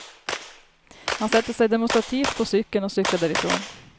Han sätter sig demonstrativt på cykeln, och cyklar därifrån.